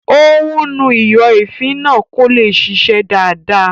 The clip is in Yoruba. Ó ún nu ìyọ̀èéfín náà kó lè ṣiṣẹ́ dáadáa